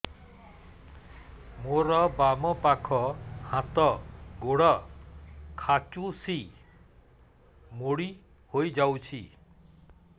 ମୋର ବାମ ପାଖ ହାତ ଗୋଡ ଖାଁଚୁଛି ମୁଡି ହେଇ ଯାଉଛି